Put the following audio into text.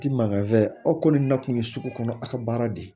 Ti mankan fɛ aw kɔni na kun ye sugu kɔnɔ aw ka baara de ye